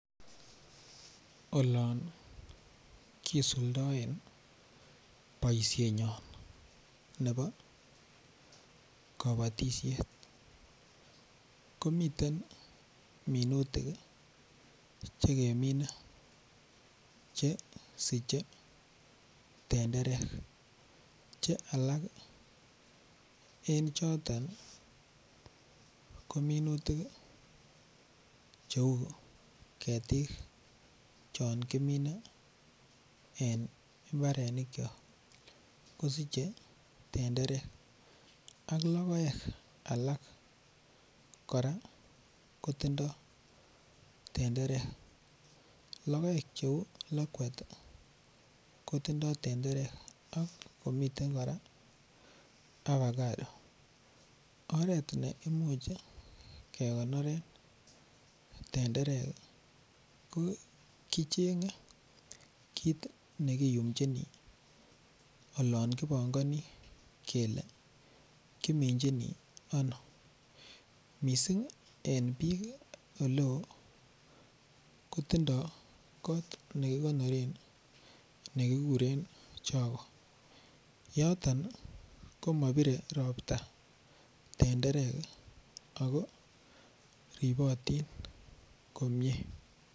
Olon kisuldaen boisienyon nebo kabatisiet komiten minutik Che kemine Che siche tenderek Che alak en choton ko minutik cheu ketik chon kimine en mbarenik kyok kosiche tenderek ak logoek alak kora kotindoi tenderek logoek Cheu lakwet ko tindoi tenderek ak komiten avocado oret ne imuch kegonoren tenderek ko kichenge kit ne kiyumchini olon kipongoni kele kiminjini ano mising en bik Oleo ko tindoi kot nekikonoren ne kikuren choge yoton komabire Ropta tenderek ako ribotin komie